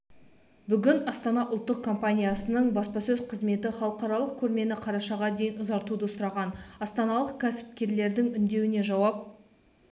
бүгін астана ұлттық компаниясының баспасөз қызметі халықаралық көрмені қарашаға дейін ұзартуды сұраған астаналық кәсіпкерлердің үндеуіне жауап